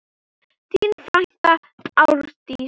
Þín frænka Árdís.